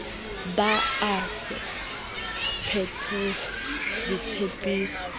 be a sa phethise ditshepiso